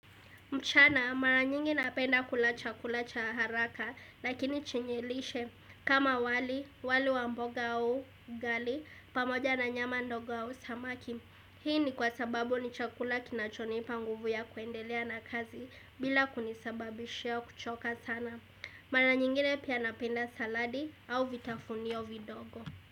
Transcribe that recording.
Mchana mara nyingi napenda kula chakula cha haraka lakini chenye lishe kama wali, wali wa mboga au ugali pamoja na nyama ndogo au samaki. Hii ni kwa sababu ni chakula kinachonipa nguvu ya kuendelea na kazi bila kunisababishia kuchoka sana. Mara nyingine pia napenda saladi au vitafunio vidogo.